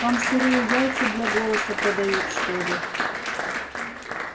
там сырые яйца для голоса продают что ли